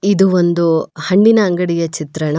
ಇದು ಒಂದು ಹಣ್ಣಿನ ಅಂಗಡಿಯ ಚಿತ್ರಣ.